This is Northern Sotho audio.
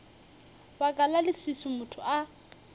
baka la leswiswi motho a